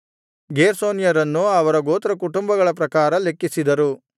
ಗೇರ್ಷೋನ್ಯರನ್ನು ಅವರ ಗೋತ್ರಕುಟುಂಬಗಳ ಪ್ರಕಾರ ಲೆಕ್ಕಿಸಿದರು